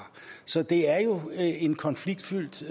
så det er jo en konfliktfyldt